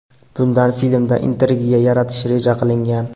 Bundan filmda intrigiya yaratish reja qilingan.